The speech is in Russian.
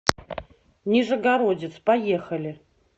нижегородец поехали